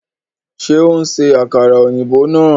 Ṣe o n ṣe àkàrà òyìnbó náà